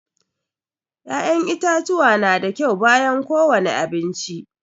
Ya'yan itatuwa na da kyau bayan ko wani abinci